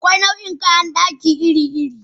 Akwai nau'ikan kayan dakin girki iri-iri.